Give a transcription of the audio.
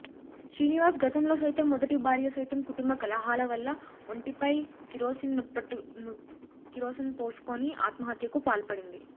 శ్రీనివాస్ గతంలో సైతం మొదటి భార్య సైతం కుటుంబ కలహాలవల్ల ఒంటిపై కిరోసిన్పోసుకొని ఆత్మహత్యకు పాల్పడింది